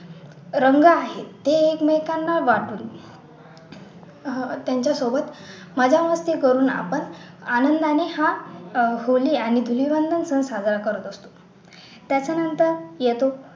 रंग आहे ते एकमेकांना लावतो त्यांच्या सोबत मजा मस्ती करून आपण आनंदाने हा होळी आणि धूलिवंदन सण साजरा करत असतो त्याच्या नंतर येतो